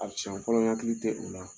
A siɲɛ fɔlɔ n hakili tɛ o la